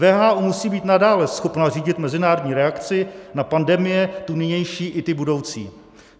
WHO musí být nadále schopno řídit mezinárodní reakci na pandemie, tu nynější i ty budoucí.